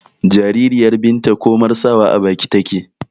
jaririyar binta komar sawa a baki take